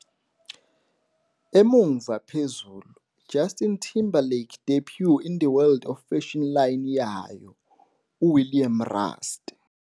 Emuva phezulu - "Justin Timberlake debuts in the world of fashion line yayo 'uWilliam Rast' '.